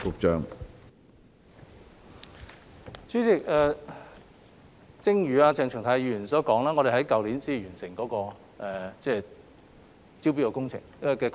主席，正如鄭松泰議員所說，我們在去年才完成招標的工作。